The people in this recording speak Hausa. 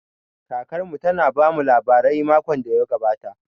Kakar mu ta na ta bamu labarai makon da ya gabata